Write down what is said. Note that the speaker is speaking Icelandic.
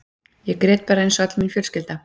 Ég grét bara eins og öll mín fjölskylda.